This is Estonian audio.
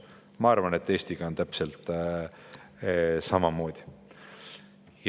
Ja ma arvan, et Eestiga on täpselt samamoodi.